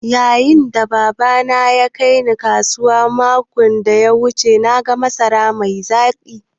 Yayin da Baba na ya aike Ni kasuwa makon da ya wuce na ga masarar mai zaƙi.